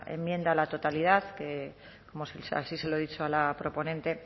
enmienda a la totalidad como así se lo he dicho a la proponente